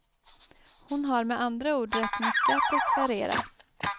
Hon har med andra ord rätt mycket att deklarera.